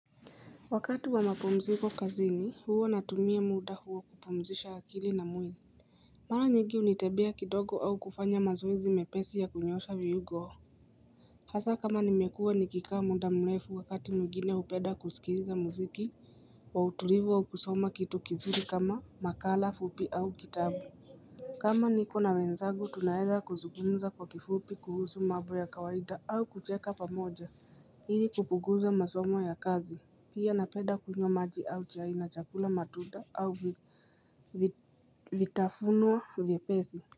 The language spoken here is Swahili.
Wakati wa mapumziko kazini huo natumia muda huo kupumzisha akili na mwili Mara nyingi hunitembea kidogo au kufanya mazoezi mepesi ya kunyosha viungo o Hasa kama nimekua nikikaa muda mrefu wakati mwingine hupenda kusikiliza muziki wa utulivu wa ukusoma kitu kizuri kama makala fupi au kitabu kama niko na wenzagu tunaeza kuzugumza kwa kifupi kuhusu mambo ya kawaida au kucheka pamoja ili kupunguzo masomo ya kazi pia napenda kunywa maji au chai chakula matunda au vitafunwa vyepesi.